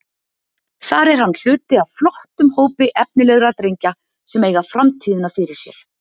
Þar er hann hluti af flottum hópi efnilegra drengja sem eiga framtíðina fyrir sér.